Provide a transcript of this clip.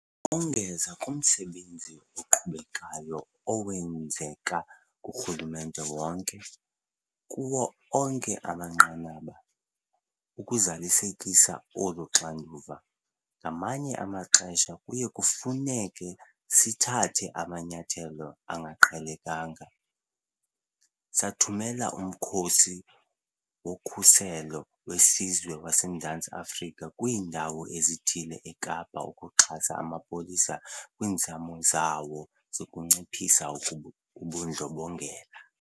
Ukongeza kumsebenzi oqhubekayo owenzeka kurhulumente wonke, kuwo onke amanqanaba, ukuzalisekisa olu xanduva, ngamanye amaxesha kuye kufuneke sithathe amanyathelo angaqhelekanga. Sathumela uMkhosi woKhuselo weSizwe waseMzantsi Afrika kwiindawo ezithile eKapa ukuxhasa amapolisa kwiinzame zawo zokunciphisa ubundlobongela.